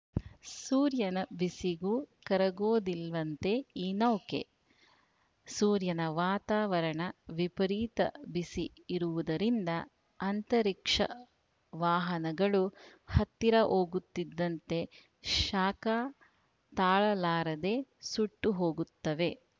ಸೂರ್ಯನ ಬಿಸಿಗೂ ಕರಗೋದಿಲ್ವಂತೆ ಈ ನೌಕೆ ಸೂರ್ಯನ ವಾತಾವರಣ ವಿಪರೀತ ಬಿಸಿ ಇರುವುದರಿಂದ ಅಂತರಿಕ್ಷ ವಾಹನಗಳು ಹತ್ತಿರ ಹೋಗುತ್ತಿದ್ದಂತೆ ಶಾಖ ತಾಳಲಾರದೆ ಸುಟ್ಟು ಹೋಗುತ್ತವೆ